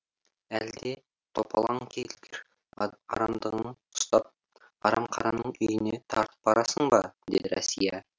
әлде топалаң келгір арамдығың ұстап арамқараның үйіне тартып барасың ба деді рәсия